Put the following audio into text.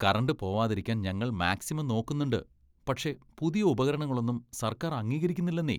Current പോവാതിരിക്കാൻ ഞങ്ങൾ maximum നോക്കുന്നുണ്ട്, പക്ഷേ പുതിയ ഉപകരണങ്ങളൊന്നും സർക്കാർ അംഗീകരിക്കുന്നില്ലന്നേ.